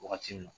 Wagati min na